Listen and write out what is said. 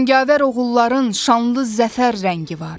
Cangavər oğulların şanlı zəfər rəngi var.